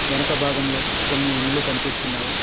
వెనక భాగంలో కొన్ని ఇండ్లు కనిపిస్తున్నాయి.